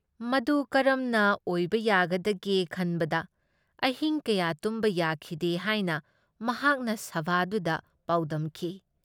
ꯃꯗꯨ ꯀꯔꯝꯅ ꯑꯣꯏꯕ ꯌꯥꯒꯗꯒꯦ ꯈꯟꯕꯗ ꯑꯍꯤꯡ ꯀꯌꯥ ꯇꯨꯝꯕ ꯌꯥꯈꯤꯗꯦ ꯍꯥꯏꯅ ꯃꯍꯥꯛꯅ ꯁꯚꯥꯗꯨꯗ ꯄꯥꯎꯗꯝꯈꯤ ꯫